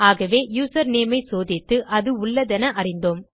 ஆகவே யூசர்நேம் ஐ சோதித்து அது உள்ளதென அறிந்தோம்